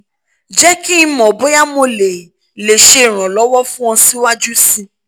jẹ ki n mọ boya mo le le ṣe iranlọwọ fun ọ siwaju sii